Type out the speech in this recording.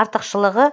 артықшылығы